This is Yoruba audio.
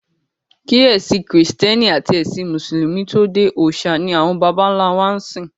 Kí ẹ̀sìn kìrìsìtẹ́nì àti ẹ̀sìn mùsùlùmí tó dé, òòṣà ni àwọn bàbá ńlá wa ń sìn.